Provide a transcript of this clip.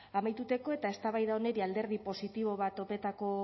amaituteko eta eztabaida honeri alderdi positibo bat topetako